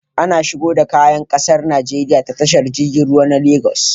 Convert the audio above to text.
Ana shigo da kaya ƙasar Nigeria ta tashar jirgin ruwa na Lagos